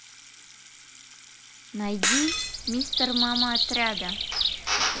найди мистер мама отряда